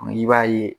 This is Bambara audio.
I b'a ye